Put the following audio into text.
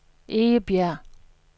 Egebjerg